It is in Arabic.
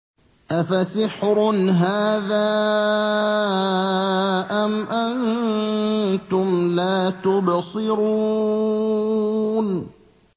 أَفَسِحْرٌ هَٰذَا أَمْ أَنتُمْ لَا تُبْصِرُونَ